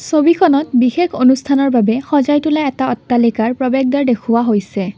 ছবিখনত বিশেষ অনুষ্ঠানৰ বাবে সজাই তোলা এটা অট্টালিকাৰ প্ৰবেশ দ্বাৰ দেখুওৱা হৈছে।